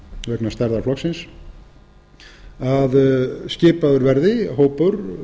vegna starfa flokksins að skipaður verði hópur